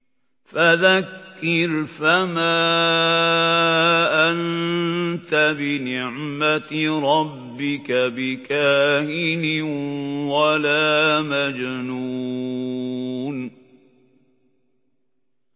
فَذَكِّرْ فَمَا أَنتَ بِنِعْمَتِ رَبِّكَ بِكَاهِنٍ وَلَا مَجْنُونٍ